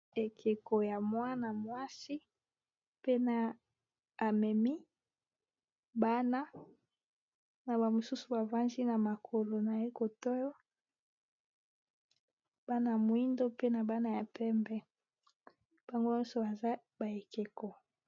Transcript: Ekeko ya mwana mwasi pe na amemi bana na ba mosusu bavandi na makolo na ye kote oyo bana moyindo pe na bana ya pembe bango nyonso aza ba ekeko